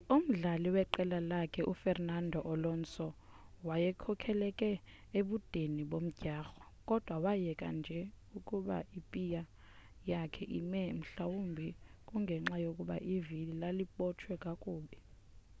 umdlali weqela lakhe u fernando alonso wayekhokhele ebudeni bomdyarho kodwa wayeka nje ukuba ipiy yakhe ime mhlawumbe kungenxa yokuba ivili lalibotshwe kakubi